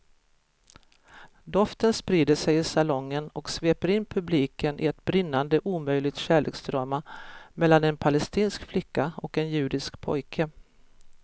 Doften sprider sig i salongen och sveper in publiken i ett brinnande omöjligt kärleksdrama mellan en palestinsk flicka och en judisk pojke.